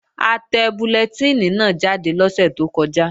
A tẹ bullẹtínì náà jáde lọ́sẹ̀ tó kọjá